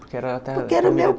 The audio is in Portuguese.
Porque era... Porque era o meu